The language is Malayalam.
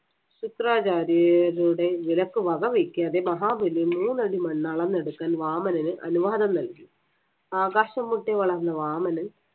ശുക്രാചാര്യരുടെ വിലക്ക് വക വയ്ക്കാതെ മഹാബലി മൂന്നടി മണ്ണ് അളന്നെടുക്കാൻ വാമനന് അനുവാദം നൽകി. ആകാശംമുട്ടെ വളർന്ന വാമനൻ